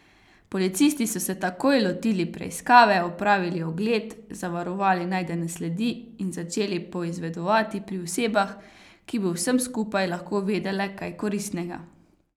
Policisti so se takoj lotili preiskave, opravili ogled, zavarovali najdene sledi in začeli poizvedovati pri osebah, ki bi o vsem skupaj lahko vedele kaj koristnega.